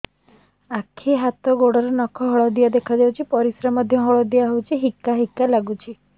ଆଖି ହାତ ଗୋଡ଼ର ନଖ ହଳଦିଆ ଦେଖା ଯାଉଛି ପରିସ୍ରା ମଧ୍ୟ ହଳଦିଆ ହଉଛି ହିକା ହିକା ଲାଗୁଛି